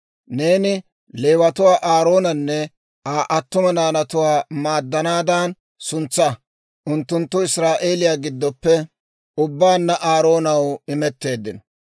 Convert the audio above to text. Neeni Leewatuwaa Aaroonanne Aa attuma naanatuwaa maaddanaadan suntsaa; unttunttu Israa'eeliyaa giddoppe ubbaanna Aaroonaw imetteeddino.